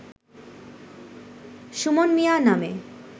সুমন মিয়া নামে